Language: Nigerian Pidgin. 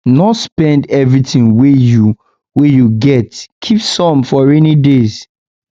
no spend everything wey you wey you get keep some for rainy days